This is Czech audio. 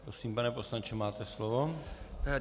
Prosím, pane poslanče, máte slovo.